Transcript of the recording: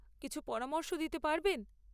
কিছু পরামর্শ দিতে পারবেন?